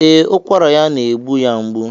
Ee, ụkwara ya na-egbu ya mgbu.